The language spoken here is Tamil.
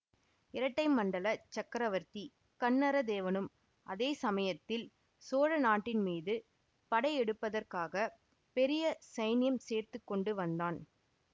இரட்டை மண்டலச் சக்கரவர்த்தி கன்னரதேவனும் அதே சமயத்தில் சோழ நாட்டின் மீது படை எடுப்பதற்காகப் பெரிய சைன்யம் சேர்த்து கொண்டு வந்தான்